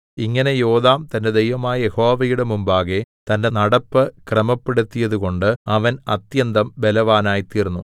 ഇങ്ങനെ യോഥാം തന്റെ ദൈവമായ യഹോവയുടെ മുമ്പാകെ തന്റെ നടപ്പ് ക്രമപ്പെടുത്തിയതുകൊണ്ട് അവൻ അത്യന്തം ബലവാനായിത്തീർന്നു